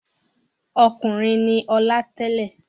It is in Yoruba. Ọkùnrin ni Ọlá tẹ́lẹ̀.